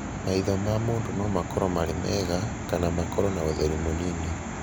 Maitho ma mũndũ no makorũo marĩ mega, kana makorũo na ũtheri mũnini.